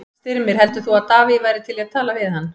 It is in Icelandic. Styrmir, heldur þú að Davíð væri til í að tala við hann?